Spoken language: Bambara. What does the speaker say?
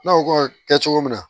Ne ko k'o bɛ kɛ cogo min na